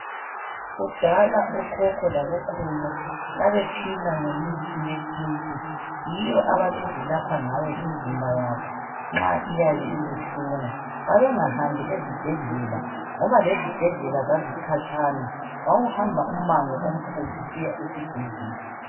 Kudala okhokho labokhulu babephila ngemithi yesintu yiyo ababezilapha ngabo imzimba yabo nxa iyabe ibuhlungu. Babengahambi ezibhedlela ngoba lezibhedlela zazikhatshana wawuhamba umango omkhulu usiya esibhedlela.